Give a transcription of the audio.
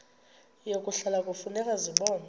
yokuhlola kufuneka zibonwe